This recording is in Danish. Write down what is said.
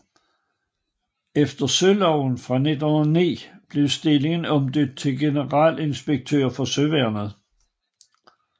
Efter Søværnsloven fra 1909 blev stillingen omdøbt til Generalinspektør for Søværnet